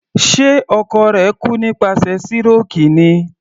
Ṣe ọkọ rẹ̀ kú nípasẹ̀ síròkì ni?